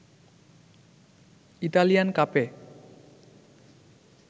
Italian কাপে